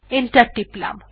enter টিপলাম